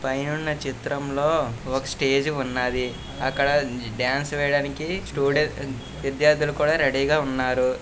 పైనున్న చిత్రంలో ఒక స్టేజి ఉన్నది. అక్కడ డాన్స్ వేయడానికి స్టూడెంట్స్ విద్యార్థులు కూడా రెడీ గ ఉన్నారు.